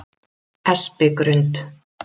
Espigrund